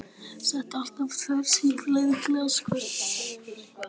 Setti alltaf tvær sykurskeiðar í glas í hvert skipti og hann fékk sér kaffi.